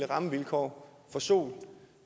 rammevilkår for sol